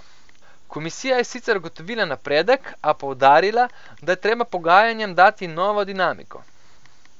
Komisija je sicer ugotovila napredek, a poudarila, da je treba pogajanjem dati novo dinamiko.